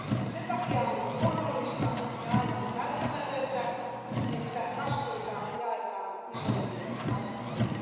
Sen takia on luonnollista ja aivan välttämätöntä, että vastuuta jaetaan isoimmille hartioille.